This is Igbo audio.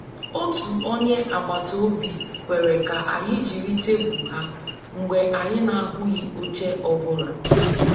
Otu onye agbata obi kwere ka anyị jiri tebụl ha mgbe anyị na-ahụghị oche ọ bụla